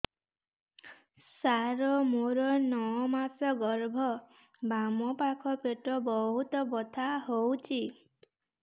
ସାର ମୋର ନଅ ମାସ ଗର୍ଭ ବାମପାଖ ପେଟ ବହୁତ ବଥା ହଉଚି